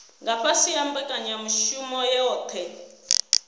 nga fhasi ha mbekanyamushumo yohe